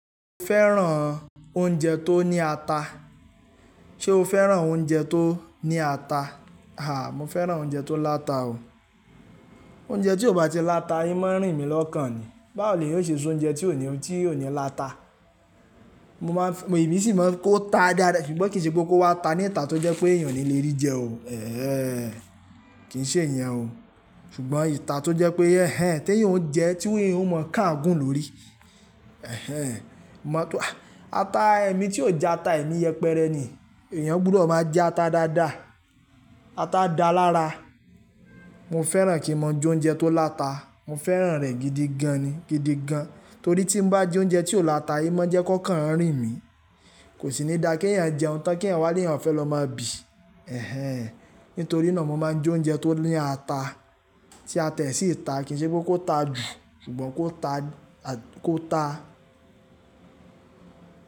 Mo fẹ́ràn oúnjẹ tó ní ata. Ṣé o fẹ́ràn oúnjẹ tó ní ata? Àá, mo fẹ́ràn oúnjẹ tó láta o. Oúnjẹ tí ò bá ti láta, n mo rìn mí lọ́kàn ni. Báwo ni eeyan o ṣe soúnjẹ tí ò ní, tí ò ní láta? Mo máa ń, èmi sì máa ń kó ta dáada, ṣùgbọ́n kì í ṣe pé kó wá ta ní ìta tó jẹ́ pé èèyàn ò ní lè rí jẹ o. Ẹ̀hẹn! Kì í ṣe ìyẹn o. Ṣùgbọ́n ìta tó jẹ́ pé ẹ̀hen, tí èèyàn ń jẹ, tí èèyàn ó mọ̀ káàgún lórí. Ẹ̀hẹn! Mo mọ̀ pé ata, ẹmi tí ò já ata, èmi yẹpẹrẹ ni. Ẹ̀yàn gbọ́dọ̀ máa já ata dáadáa. Ata dáa lára. Mo fẹ́ràn kí mo jóúnjẹ tó láta. Mo fẹ́ràn rẹ̀ gidi gan ni, gidi gan. Nítorí tí n bá jí oúnjẹ tí ò láta, n mọ́ jẹ́ kókan rìn mí. Kò sì ní dáa kí ẹ̀yàn jẹ́un tan, kí eeyan walè eeyab fẹ́ lọ máa bì. Ẹ̀hẹn! Nítorí náà mo máa ń jóúnjẹ tó ní ata. Tí ata yìí sì ta, kì í ṣe pé kó ta jù, ṣùgbọ́n kó ta, kó ta.